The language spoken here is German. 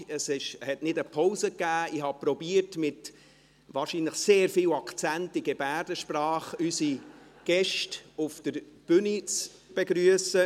Ich habe versucht, wahrscheinlich mit sehr viel Akzent, unsere Gäste auf der Tribüne in Gebärdensprache zu begrüssen.